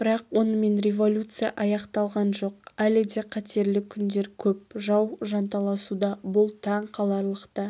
бірақ онымен революция аяқталған жоқ әлі де қатерлі күндер көп жау жанталасуда бұл таң қаларлық та